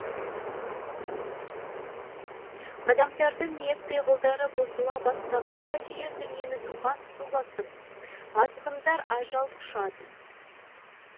адамдардың ниет пиғылдары бұзыла бастағанда жер дүниені топан су басып азғындар ажал құшады